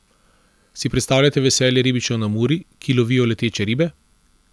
Si predstavljate veselje ribičev na Muri, ki lovijo leteče ribe?